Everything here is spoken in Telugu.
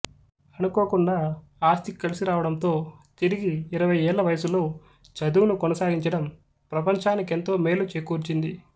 అనుకోకుండా ఆస్తి కలిసి రావడంతో తిరిగి ఇరవయ్యేళ్ల వయసులో చదువును కొనసాగించడం ప్రపంచానికెంతో మేలు చేకూర్చింది